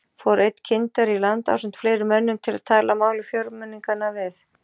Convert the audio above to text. Fór einn kyndari í land ásamt fleiri mönnum til að tala máli fjórmenninganna við